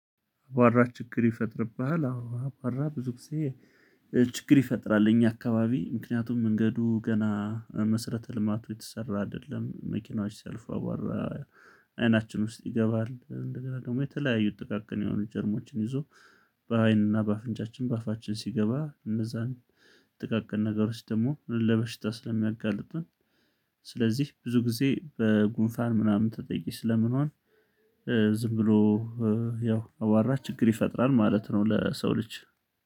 አቧራ ችግር ይፈጥርብሃል አዎ አቧራ ብዙ ጊዜ ችግር ይፈጥራል። እኛ አካባቢ ምክንያቱም መንገዱ ገና መሰረተ ልማቱ የተሰራ አይደለም። መኪናዎች ሲያልፉ አቧራ አይናችን ውስጥ ይገባል እንደገና ደግሞ የተለያዩ ጥቃቅን የሆኑ ጀርሞችን ይዞ በአይንና በአፍንጫችን በአፋችን ሲገባ እነዛን ጥቃቅን ነገሮች ደግሞ ለበሽታ ስለሚያጋልጥን። ስለዚህ ብዙ ጊዜ በጉንፋን ምናምን ተጠቂ ስለምንሆን ዝም ብሎ ያው አቧራ ችግር ይፈጥራል ማለት ነው። ለሰው ልጅ